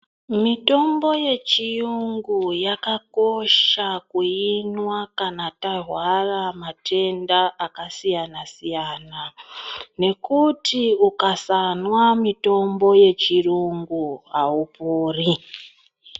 Mitombo yechiyungu yakakosha kuinwa kana tarwara matenda aksiyana siyana nekuti ukasamwa mutombo wechirungu aupori .